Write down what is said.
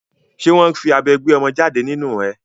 Ṣé wọ́n fi abẹ gbé ọmọ jáde nínu ẹ?